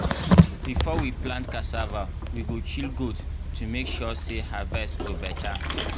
before we plant cassava we go kill goat to make sure say harvest go better.